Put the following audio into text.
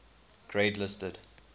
grade listed